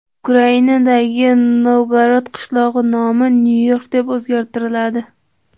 Ukrainadagi Novgorod qishlog‘i nomi Nyu-York deb o‘zgartiriladi.